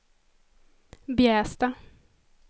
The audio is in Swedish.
Bjästa